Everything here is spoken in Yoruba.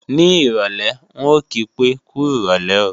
Ní ìrọ̀lé, ń ò kí pé, "kú rọ̀lé o"